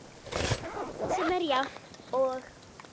sem er jafnt og